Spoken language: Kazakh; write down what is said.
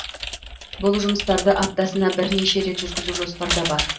бұл жұмыстарды аптасына бірнеше рет жүргізу жоспарда бар